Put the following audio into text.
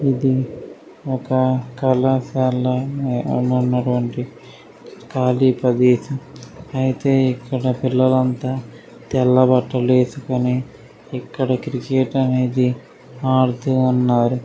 ఇది ఒక కళాశాల ఆడున్నటువంటి ఖాళీ ప్రదేశం. అయితే ఇక్కడ పిల్లలంతా తెల్ల బట్టలేసుకుని ఇక్కడ క్రికెట్ అనేది ఆడుతూ ఉన్నారు.